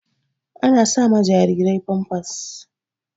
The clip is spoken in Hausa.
Ana sa ma jarirai famfas.